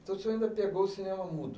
Então, o senhor ainda pegou o cinema mudo?